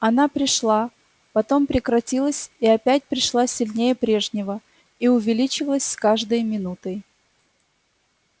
она пришла потом прекратилась и опять пришла сильнее прежнего и увеличивалась с каждой минутой